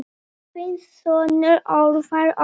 Þinn sonur, Ólafur Oddur.